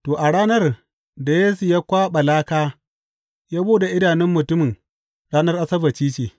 To, a ranar da Yesu ya kwaɓa laka ya buɗe idanun mutumin ranar Asabbaci ce.